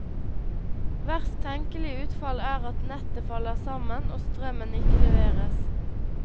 Verst tenkelig utfall er at nettet faller sammen, og strømmen ikke leveres.